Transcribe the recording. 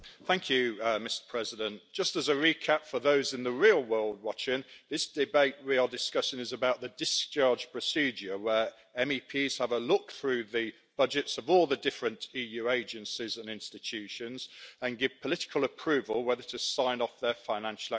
Mr President, just as a recap for those in the real world watching this debate, we are discussing the discharge procedure where MEPs have a look through the budgets of all the different EU agencies and institutions and give political approval whether to sign off on their financial activities.